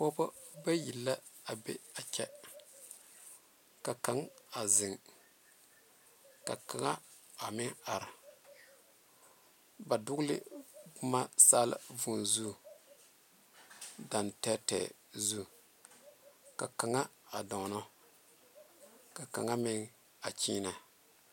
Pɔge bayi la a be a kyɛ ka kaŋ a zeŋ ka kaŋa a meŋ are ba dogle boma saala vūū zu gaŋ tɛɛtɛɛ zu ka kaŋa a donna ka kaŋa meŋ a kyiine.